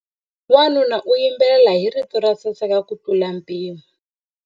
Wanuna u yimbelela hi rito ro saseka kutlula mpimo.